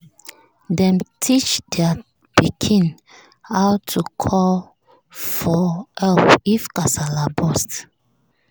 dem teach their pikin how to call for help if kasala burst.